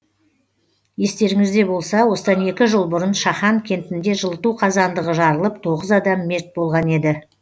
естеріңізде болса осыдан екі жыл бұрын шахан кентінде жылыту қазандығы жарылып тоғыз адам мерт болған еді